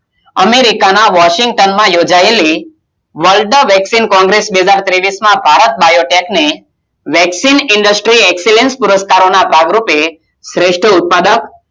America માં વોસિનતાનમાં યોજાયેલી World વેક્સીન કોંગ્રેસ બે હજાર તેવીસ માં ભારત બાયોટેગની World Vaccine Industries ભાગ રૂપે સ્રેષ્ઠ ઉત્પાદક